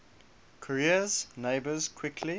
korea's neighbours quickly